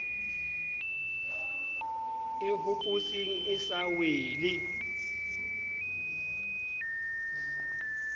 e hopotseng e sa wele